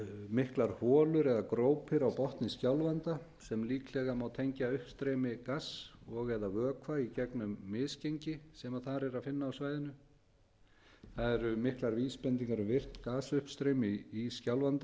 miklar holur eða grópir á botni skjálfanda sem líklega má tengja uppstreymi gass og eða vökva i gegnum misgengi sem þar er að finna á svæðinu það eru miklar vísbendingar um virkt gasuppstreymi í skjálfanda